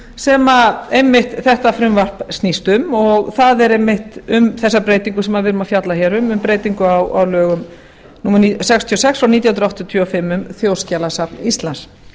sem einmitt þetta frumvarp snýst um og það er einmitt um þessa breytingu sem við erum að fjalla hér um um breytingu á lögum númer sextíu og sex nítján hundruð áttatíu og fimm um þjóðskjalasafn íslands